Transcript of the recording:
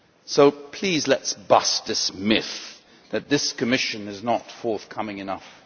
So please let us bust this myth that this Commission is not forthcoming enough.